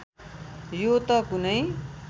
यो त कुनै